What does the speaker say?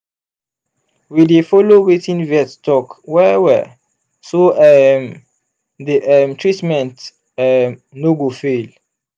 we dey follow wetin vet talk well-well so um the um treatment um no go fail.